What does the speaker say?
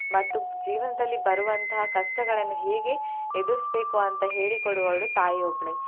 ಮತ್ತು ಜೀವನದಲ್ಲಿ ಬರುವಂತಹ ಕಷ್ಟಗಳನ್ನ್ ಹೇಗೆ ಎದುರಿಸ್ಬೇಕು ಅಂತ ಹೇಳಿ ಕೊಡುವವಳು ತಾಯಿ ಒಬ್ಳೆ.